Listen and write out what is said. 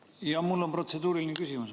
Jaa, mul on protseduuriline küsimus.